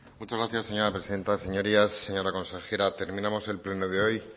muchas gracias señora presidenta señorías consejera terminamos el pleno de hoy